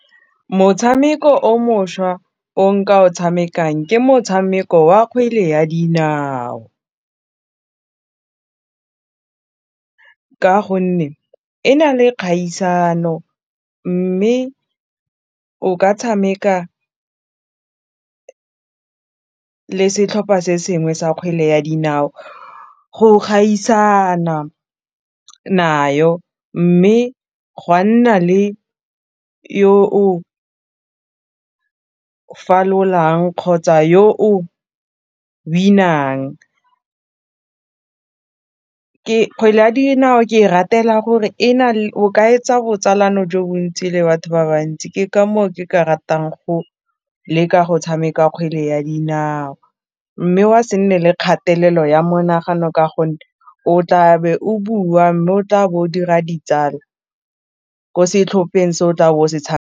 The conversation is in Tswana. Motshameko o mošwa o nka o tshamekang ke motshameko wa kgwele ya dinao ka gonne e na le kgaisano mme o ka tshameka le setlhopha se sengwe sa kgwele ya dinao go gaisana nayo mme gwa nna le yo o falolang kgotsa yo o win-ang kgwele ya dinao ke e ratela gore o ka etsa botsalano jo bontsi le batho ba bantsi ke ka moo ke ka ratang go leka go tshameka kgwele ya dinao mme wa se nne le kgatelelo ya monagano ka gonne o tla be o bua mme o tla bo o dira ditsala ko setlhopheng se o tla bo o se .